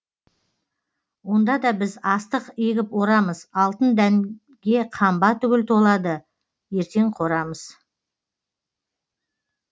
онда да біз астық егіп орамыз алтын дәнге қамба түгіл толады ертең қорамыз